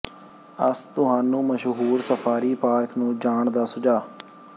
ਅਸ ਤੁਹਾਨੂੰ ਮਸ਼ਹੂਰ safari park ਨੂੰ ਜਾਣ ਦਾ ਸੁਝਾਅ